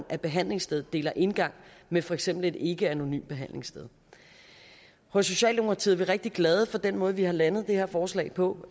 at behandlingsstedet deler indgang med for eksempel et ikkeanonymt behandlingssted hos socialdemokratiet er vi rigtig glade for den måde vi har landet det her forslag på